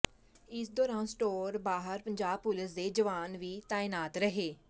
ਇਸ ਦੌਰਾਨ ਸਟੋਰ ਬਾਹਰ ਪੰਜਾਬ ਪੁਲਸ ਦੇ ਜਵਾਨ ਵੀ ਤਾਇਨਾਤ ਰਹੇ